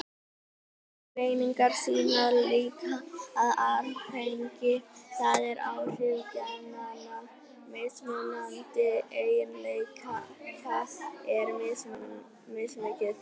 Slíkar greiningar sýna líka að arfgengi, það er áhrif genanna, mismunandi eiginleika er mismikið.